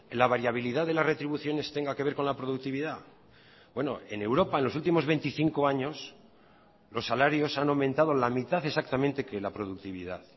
la variabilidad de las retribuciones tenga que ver con la productividad en europa en los últimos veinticinco años los salarios han aumentado la mitad exactamente que la productividad